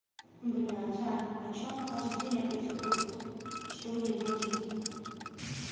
блядь ань а что она каждый день опять ходит что ей нужно